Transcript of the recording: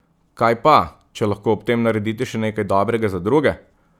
Kaj pa, če lahko ob tem naredite še nekaj dobrega za druge?